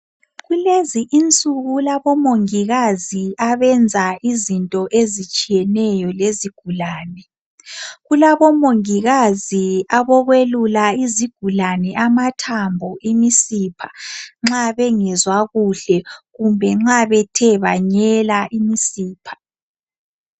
Kulezi insuku kulabo mongikazi abenza izinto ezitshiyeneyo lezigulane .Kulabomongikazi abokwelula izigulane amathambo ,imisipha nxa bengezwa kuhle . Kumbe nxa bethe banyela imisipha .